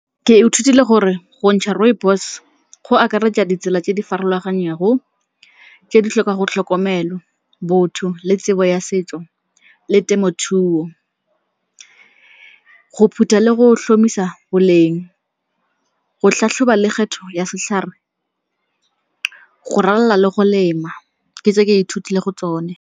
Ke ithutile gore go ntšha rooibos go akaretsa ditsela tse di farologaneng go tse di tlhokang go tlhokomelo, botho le tsebo ya setso le temothuo. Go phutha le go tlhomamisa boleng, go tlhatlhoba le kgetho ya setlhare, go ralala le go lema. Ke tse ke ithutileng go tsone.